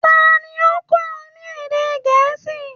Ta ni ó ń kọ ọ ní èdè Gẹ̀ẹ́sì?